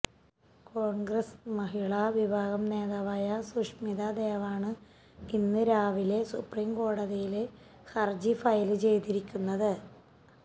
കോണ്ഗ്രസ് മഹിളാ വിഭാഗം നേതാവായ സുഷ്മിത ദേവാണ് ഇന്ന് രാവിലെ സുപ്രീം കോടതിയില് ഹര്ജി ഫയല് ചെയ്തിരിക്കുന്നത്